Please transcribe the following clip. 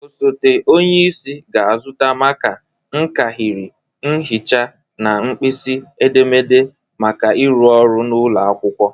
Osote onyeisi ga-azụta maka, nkahịrị, mhịcha na nkpisi edemede maka ịrụ ọrụ n'ụlọ akwụkwọ anyị.